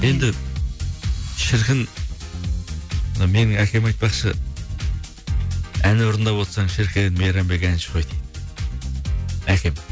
енді шіркін мына менің әкем айтпақшы ән орындап отырсаң шіркін мейрамбек әнші ғой дейді әкем